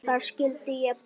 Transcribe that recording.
Þar skyldi ég búa.